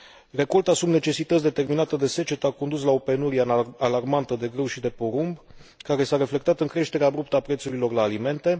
Recolta sub necesități, determinată de secetă, a condus la o penurie alarmantă de grâu și de porumb, care s a reflectat în creșterea abruptă a prețurilor la alimente.